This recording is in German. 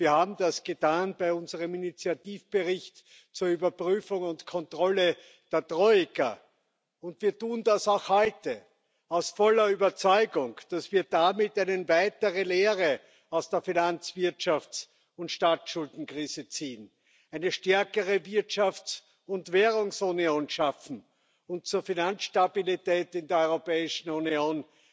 Wir haben das getan bei unserem Initiativbericht zur Überprüfung und Kontrolle der Troika, und wir tun das auch heute aus voller Überzeugung, dass wir damit eine weitere Lehre aus der Finanzwirtschafts und Staatsschuldenkrise ziehen, eine stärkere Wirtschafts und Währungsunion schaffen und zur Finanzstabilität in der Europäischen Union